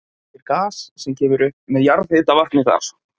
Nýtir gas sem kemur upp með jarðhitavatni þar.